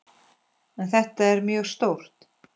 En þetta er mjög stórt.